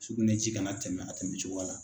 Sugunɛji kana tɛmɛ a tɛmɛ cogoya la.